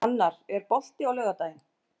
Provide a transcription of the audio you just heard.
Annar, er bolti á laugardaginn?